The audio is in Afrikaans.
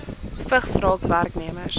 vigs raak werknemers